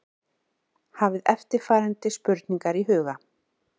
Hafið eftirfarandi spurningar í huga